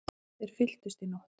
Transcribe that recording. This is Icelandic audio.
Þeir fylltust í nótt.